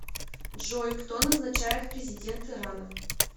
джой кто назначает президент ирана